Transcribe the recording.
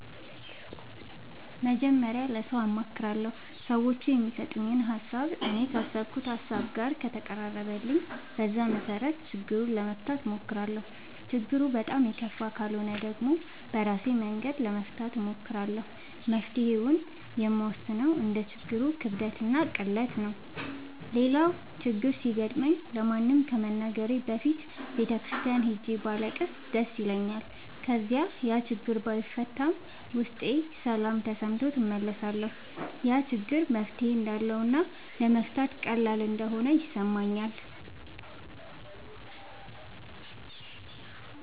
መጀመሪያ ለሠው አማክራለሁ። ሠዎቹ የሚሠጡኝ ሀሣብ እኔ ካሠብኩት ሀሳብ ጋር ከተቀራረበልኝ በዛ መሠረት ችግሩን ለመፍታት እሞክራለሁ። ችግሩ በጣም የከፋ ካልሆነ ደግሞ በራሴ መንገድ ለመፍታት እሞክራለሁ። መፍትሔውን የምወስነው እንደ ችግሩ ክብደትና ቅለት ነው። ሌላው ችግር ሲገጥመኝ ለማንም ከመናገሬ በፊት ቤተ ክርስቲያን ሄጄ ባለቅስ ደስ ይለኛል። ከዚያ ያችግር ባይፈታም ውስጤ ሠላም ተሠምቶት እመለሳለሁ። ያ ችግር መፍትሔ እንዳለውና ለመፍታት ቀላል እንደሆነ ይሠማኛል።